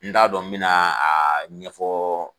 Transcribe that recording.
N t'a dɔn n bɛ na a ɲɛfɔ